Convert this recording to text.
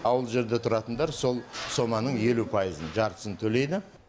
ауылдық жерде тұратындар сол соманың елу пайызын жартысын төлейді